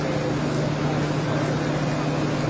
Hə, bir yüz doqquz min.